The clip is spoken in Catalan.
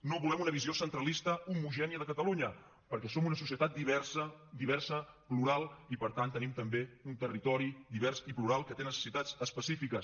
no volem una visió centralista homogènia de catalunya perquè som una societat diversa diversa plural i per tant tenim també un territori divers i plural que té necessitats específiques